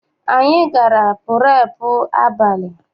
Anyị gara purepu abalị.